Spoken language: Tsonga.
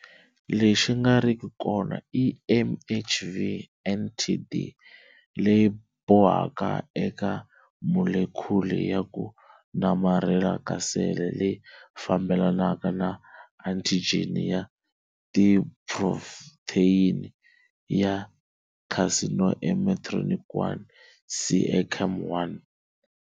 Lexi nga riki kona i MHV NTD leyi bohaka eka molekhuli ya ku namarhela ka sele leyi fambelanaka na antijeni ya tiphrotheyini ya carcinoembryonic 1, CEACAM1